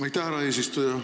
Aitäh, härra eesistuja!